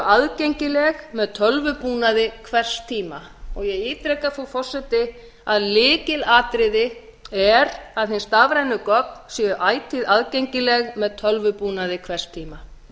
aðgengileg með tölvubúnaði hvers tíma ég ítreka frú forseti að lykilatriði er að hin stafrænu gögn séu ætíð aðgengileg með tölvubúnaði hvers tíma